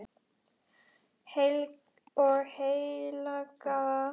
og heilaga kirkju